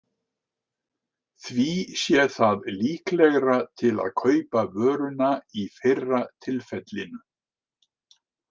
Því sé það líklegra til að kaupa vöruna í fyrra tilfellinu.